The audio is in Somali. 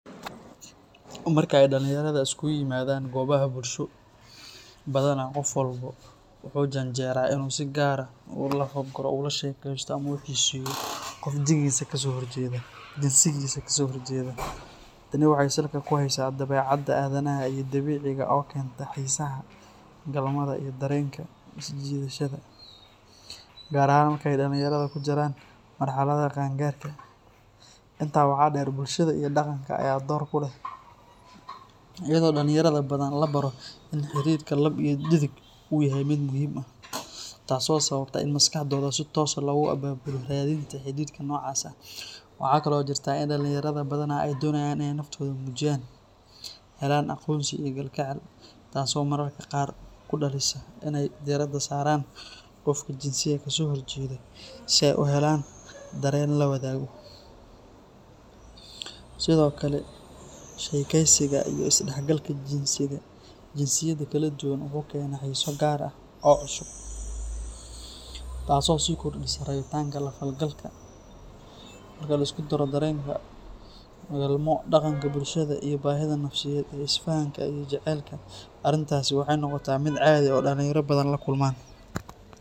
Markay dhalinyarada isugu yimaadaan goobaha bulsho, badanaa qof walba wuxuu u janjeeraa inuu si gaar ah u lafa-guro, ula sheekeysto ama xiiseeyo qofka jinsiga ka soo horjeeda. Tani waxay salka ku haysaa dabeecadda aadanaha ee dabiiciga ah oo keenta xiisaha galmada iyo dareenka isjiidashada, gaar ahaan marka ay dhalinyarada ku jiraan marxaladda qaangaarka. Intaa waxaa dheer, bulshada iyo dhaqanka ayaa door ku leh, iyadoo dhalinyarada badanaa la baro in xidhiidhka lab iyo dhedig uu yahay mid muhiim ah, taas oo sababta in maskaxdooda si toos ah loogu abaabulo raadinta xidhiidhka noocaas ah. Waxa kale oo jirta in dhalinyarada badanaa ay doonayaan in ay naftooda muujiyaan, helaan aqoonsi iyo kalgacal, taasoo mararka qaar ku dhalisa in ay diiradda saaraan qofka jinsiga ka soo horjeeda si ay u helaan dareen la wadaago. Sidoo kale, sheekaysiga iyo is-dhexgalka jinsiyada kala duwan wuxuu keenaa xiiso gaar ah oo cusub, taasoo sii kordhisa rabitaanka la falgalka. Marka la isku daro dareenka galmo, dhaqanka bulshada, iyo baahida nafsiyeed ee isfahamka iyo jacaylka, arrintaasi waxay noqotaa mid caadi ah oo dhalinyaro badan la kulmaan.